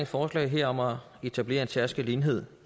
forslag her om at etablere en særskilt enhed